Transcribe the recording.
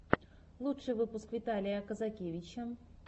лучший выпуск виталия казакевича